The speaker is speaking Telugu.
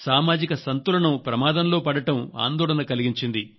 సామాజిక సంతులనం ప్రమాదంలో పడటం ఆందోళన కలిగించింది